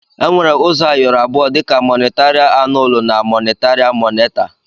Enwere uzọ ayọrọ abụọ dika mọnitaria annụlụ na monitaria moneta.